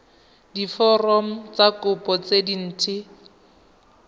diforomo tsa kopo tse dint